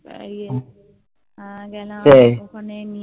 ইয়ে গেলাম ওখানে নিয়ে